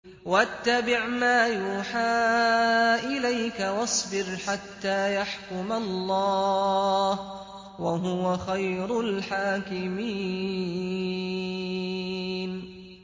وَاتَّبِعْ مَا يُوحَىٰ إِلَيْكَ وَاصْبِرْ حَتَّىٰ يَحْكُمَ اللَّهُ ۚ وَهُوَ خَيْرُ الْحَاكِمِينَ